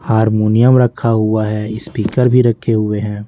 Harmonium रखा हुआ है स्पीकर भी रखे हुए हैं।